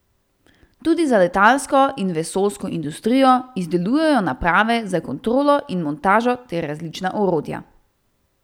Tudi za letalsko in vesoljsko industrijo izdelujejo naprave za kontrolo in montažo ter različna orodja.